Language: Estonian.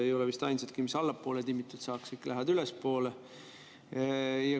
Ei ole vist ainsatki, mis allapoole timmitud saaks, kõik lähevad ülespoole.